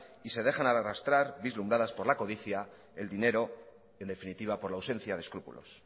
y se dejan arrastras vislumbradas por la codicia el dinero en definitiva por la ausencia de escrúpulos